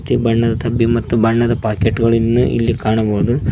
ಮತ್ತೆ ಬಣ್ಣದ ಡಬ್ಬಿ ಬಣ್ಣದ ಪಾಕೆಟ್ ಗಳನ್ನು ಇಲ್ಲಿ ಕಾಣಬಹುದು.